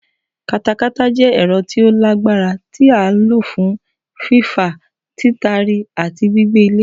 Katakata jẹ́ ẹ̀rọ tí ó lágbára tí a lò fún fífà, títari àti gbígbẹ́ ilẹ̀.